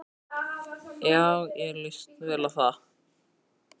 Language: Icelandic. Já, mér líst vel á það.